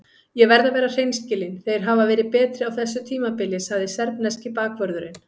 Ég verð að vera hreinskilinn- þeir hafa verið betri á þessu tímabili, sagði serbneski bakvörðurinn.